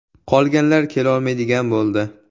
Qolganlar kelolmaydigan bo‘ldi.